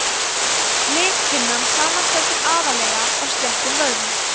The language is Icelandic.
lithimnan samanstendur aðallega af sléttum vöðvum